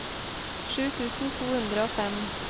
sju tusen to hundre og fem